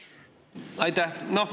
Aitäh!